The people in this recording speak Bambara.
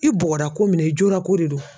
I bɔgɔra ko min na i jolako de do.